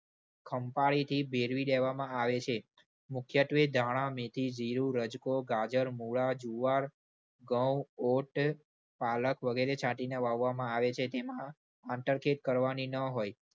ખંપાળીથી ભેળવી દેવામાં આવે છે. મુખ્યત્વે ધાણા, મેથી, જીરું, રજકો, ગાજર, મુળા, જુવાર, ઘઉં, ઓટ, પાલક, વગેરે છાંટીને વાવવામાં આવે છે. તેમાં આંતરખેદ કરવાની ન હોય.